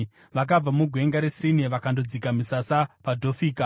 Vakabva muGwenga reSini vakandodzika misasa paDhofika.